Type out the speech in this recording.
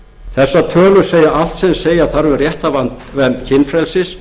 þessar tölur segja allt sem segja þarf um réttarvernd kynfrelsis